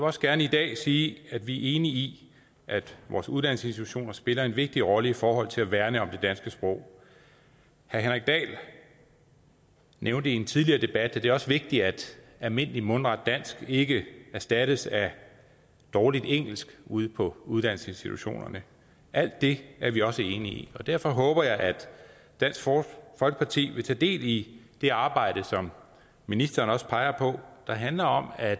også gerne i dag sige at vi er enige i at vores uddannelsesinstitutioner spiller en vigtig rolle i forhold til at værne om det danske sprog herre henrik dahl nævnte i en tidligere debat at det også er vigtigt at almindeligt mundret dansk ikke erstattes af dårligt engelsk ude på uddannelsesinstitutionerne alt det er vi også enige i og derfor håber jeg at dansk folkeparti vil tage del i det arbejde som ministeren også peger på der handler om at